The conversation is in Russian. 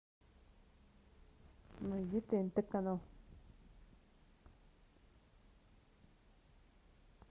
найди тнт канал